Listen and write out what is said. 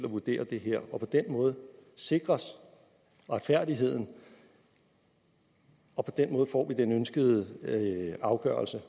at vurdere det her på den måde sikres retfærdigheden og på den måde får vi den ønskede afgørelse